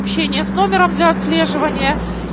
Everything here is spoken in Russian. общение с номером для отслеживания